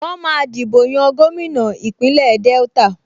Wọ́n máa dìbò yan gómìnà Ìpínlẹ̀ Delta